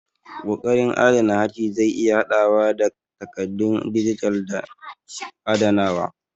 Ƙoƙarin adana harshe zai iya haɗawa da takaddun dijital da adanawa.